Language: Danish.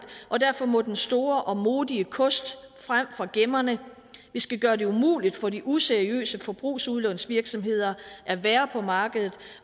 og derfor må den store og modige kost frem fra gemmerne vi skal gøre det umuligt for de useriøse forbrugslånsvirksomheder at være på markedet